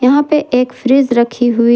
यहां पे एक फ्रिज रखी हुई--